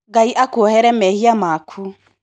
Ngai akuohere mehia maku.